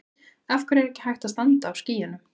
Af hverju er ekki hægt að standa á skýjunum?